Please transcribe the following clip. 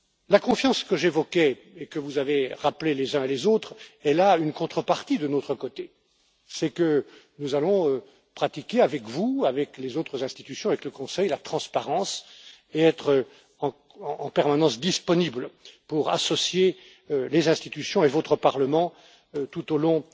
La confiance que j'évoquais et que vous avez rappelée les uns et les autres a une contrepartie de notre côté, c'est que nous allons pratiquer avec vous, avec les autres institutions, avec le Conseil, la transparence et être en permanence disponibles pour associer les institutions et votre Parlement tout au long